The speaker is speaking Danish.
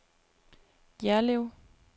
Jerlev